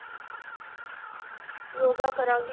ਯੋਗਾ ਕਰਾਂਗੀ।